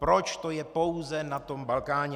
Proč to je pouze na tom Balkáně?